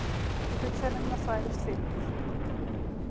Hugsanirnar þvælast fyrir mér.